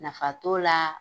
Nafa t'o laa